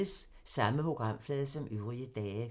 Samme programflade som øvrige dage